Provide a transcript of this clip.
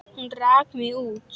Hún rak mig út.